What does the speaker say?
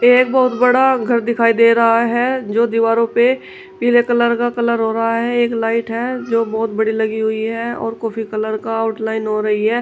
एक बहुत बड़ा घर दिखाई दे रहा है जो दीवारों पे पीले कलर का कलर हो रहा है एक लाइट है जो बहुत बड़ी लगी हुई है और कॉफी कलर का आउटलाइन हो रही है।